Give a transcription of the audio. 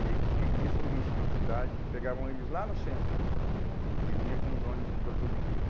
E aí tinha guias turísticos na cidade que pegavam eles lá no centro e vinham com os ônibus em todas as igrejas.